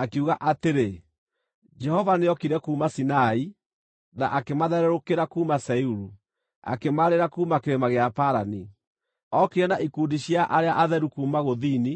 Akiuga atĩrĩ: “Jehova nĩokire kuuma Sinai, na akĩmathererũkĩra kuuma Seiru; akĩmaarĩra kuuma kĩrĩma gĩa Parani. Ookire na ikundi cia arĩa atheru kuuma gũthini,